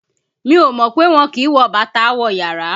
Mi ò mọ̀ pé wọn kì ń wọ bàtà wọ yàrá